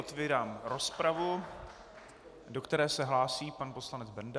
Otevírám rozpravu, do které se hlásí pan poslanec Benda.